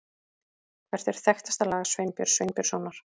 Hvert er þekktasta lag Sveinbjörns Sveinbjörnssonar?